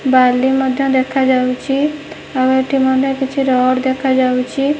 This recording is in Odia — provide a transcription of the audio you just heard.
ବାଲି ମଧ୍ୟ ଦେଖା ଯାଉଛି ଆଉ ଏଠି ମଧ୍ୟ କିଛି ରଡ଼ ଦେଖା ଯାଉଛି।